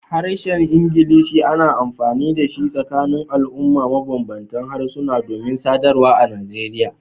Harshen Ingilishi ana amfani da shi a tsakanin al'umma mabanbanta harsuna domin sadarwa a Nigeria.